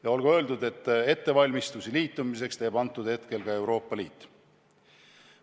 Ja olgu öeldud, et ettevalmistusi liitumiseks teeb ka Euroopa Liit.